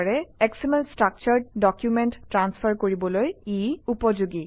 SML structured document transfer কৰিবলৈ ই উপযোগী